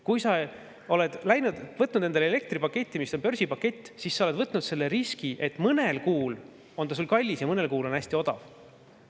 Kui sa oled võtnud endale elektri börsipaketi, siis sa oled võtnud riski, et mõnel kuul on see kallis ja mõnel kuul on hästi odav.